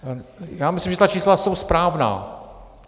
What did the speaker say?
Já myslím, že ta čísla jsou správná.